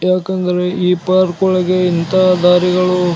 ಯಾಕಂದ್ರೆ ಈ ಪಾರ್ಕ್ ಒಳಗೆ ಇಂತ ದಾರಿಗಳು --